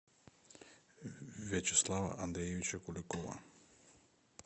вячеслава андреевича куликова